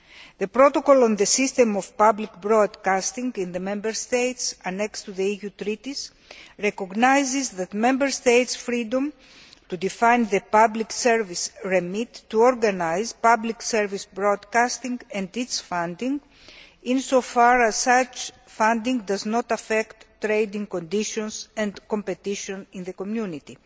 The protocol on the system of public broadcasting in the Member States, annexed to the EU treaties, recognises the Member States' freedom to define the public service remit to organise public service broadcasting and its funding, as long as such funding does not affect trading conditions and competition in the Community.